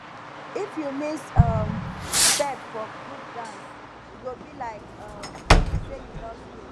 if you miss um step for group dance e go be like um say you lost road